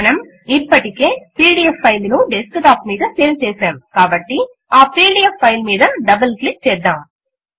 మనం ఇప్పటికే PDF file ను డెస్క్ టాప్ మీద సేవ్ చేశాము కాబట్టి ఆ పీడీఎఫ్ ఫైల్ మీద డబుల్ క్లిక్ చేద్దాం